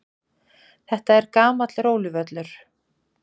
Þetta er gamall róluvöllur.